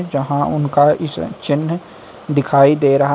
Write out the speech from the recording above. यहां उनका इस चिह्न दिखाई दे रहा--